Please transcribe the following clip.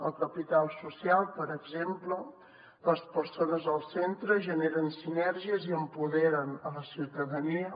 el capital social per exemple les persones al centre generen sinergies i empoderen la ciutadania